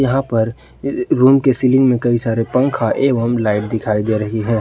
यहां पर इक रूम के सीलिंग में कई सारे पंखा एवं लाइट दिखाई दे रही है ।